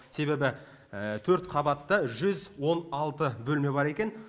себебі төрт қабатта жүз он алты бөлме бар екен